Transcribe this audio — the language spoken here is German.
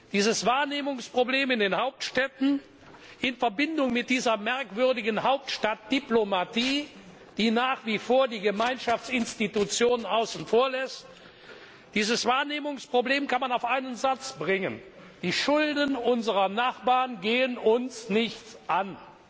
Dieses Wahrnehmungsproblem in den Hauptstädten in Verbindung mit dieser merkwürdigen Hauptstadtdiplomatie, die nach wie vor die Gemeinschaftsinstitutionen außen vor lässt, kann man auf einen Satz bringen Die Schulden unserer Nachbarn gehen uns nichts an!